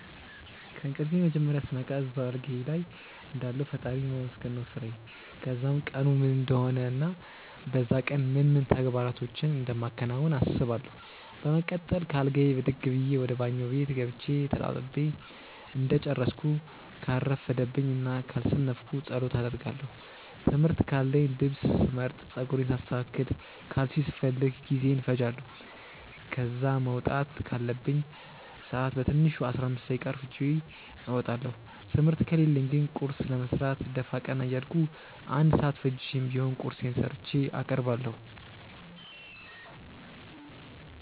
ከእንቅልፌ መጀመርያ ስነቃ እዛው አልጋዬ ልይ እንዳለሁ ፈጣሪን ማመስገን ነው ስራዬ። ከዛም ቀኑ ምን እንደሆነ እና በዛ ቀን ምን ምን ተግባራቶችን እንደማከናውን አስባለው። በመቀጠል ከአልጋዬ ብድግ ብዬ ወደ ባኞ ቤት ገብቼ ተጣጥቤ እንደጨረስኩ ካልረፈደብኝ እና ካልሰነፍኩ ጸሎት አደርጋለው። ትምህርት ካለኝ ልብስ ስመርጥ፣ ጸጉሬን ሳስተካክል፣ ካልሲ ስፈልግ ጊዜዬን እፈጃለው። ከዛ መውጣት ካለብኝ ሰአት በትንሹ 15 ደቂቃ አርፍጄ እወጣለው። ትምህርት ከሌለኝ ግን ቁርስ ለመስራት ደፋ ቀና እያልኩ 1 ሰአት ፈጅቼም ቢሆን ቁርሴን ሰርቼ አቀርባለሁ።